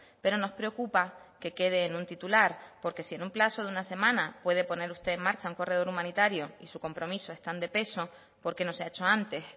pero nos preocupa que quede en un titular porque si en un plazo de una semana puede poner usted en marcha un corredor humanitario y su compromiso es tan de peso por qué no se ha hecho antes